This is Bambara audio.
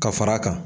Ka fara a kan